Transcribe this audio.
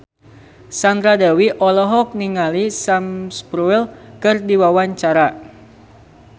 Sandra Dewi olohok ningali Sam Spruell keur diwawancara